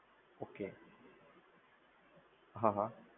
Okay, હા હા.